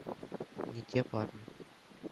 не те парни